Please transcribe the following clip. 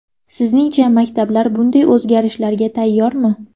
Sizningcha, maktablar bunday o‘zgarishlarga tayyormi?